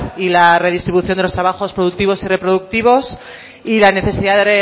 y la redistribución de los trabajos productivos y reproductivos y la necesidad de